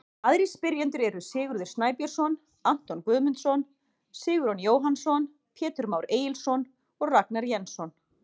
Aðrir spyrjendur eru: Sigurður Snæbjörnsson, Anton Guðmundsson, Sigurjón Jóhannsson, Pétur Már Egilsson og Ragnar Jensson.